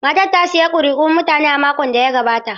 Matar ta sayi kuri'un mutane a makon da ya gabata.